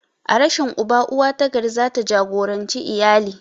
A rashin uba, uwa ta gari za ta jagoranci iyali.